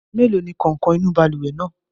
Mélòó ni kàǹkọ̀ inú balùwẹ̀ náà?